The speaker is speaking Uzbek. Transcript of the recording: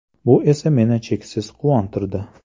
Bu esa meni cheksiz quvontirdi.